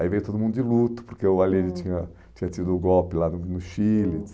Aí veio todo mundo de luto, porque o aliente tinha tinha tido o golpe lá no no Chile,